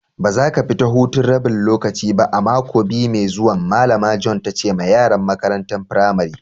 Ba za ka fita hutun rabin lokaci ba a'mako biyu mai zuwan! Malama Joan ta ce ma yaran makarantan firamarin.